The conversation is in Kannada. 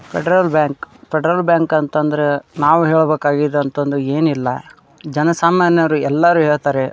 ಫೆಡ್ರಲ್ ಬ್ಯಾಂಕ್ ಫೆಡ್ರಲ್ ಬ್ಯಾಂಕ್ ಅಂತ ಅಂದ್ರೆ ನಾವು ಹೇಳಬೇಕಾ ಅಂತ ಅಂದ್ರೆ ಏನ್ ಇಲ್ಲಾ ಜನಸಾಮಾನ್ಯರು ಎಲ್ಲರು ಹೇಳತ್ತರೆ--